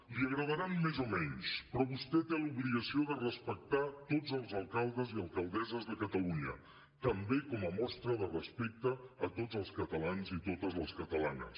li agradaran més o menys però vostè té l’obligació de respectar tots els alcaldes i alcaldesses de catalunya també com a mostra de respecte a tots els catalans i totes les catalanes